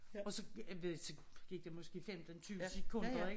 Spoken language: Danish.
Og så jeg ved ik så gik der måske 15 20 sekunder ik